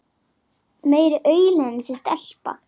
Meiri aulinn þessi stelpa.